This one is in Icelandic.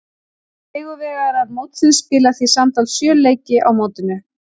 Sigurvegarar mótsins spila því samtals sjö leiki á mótinu.